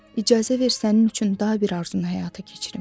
İcazə ver sənin üçün da bir arzunu həyata keçirim.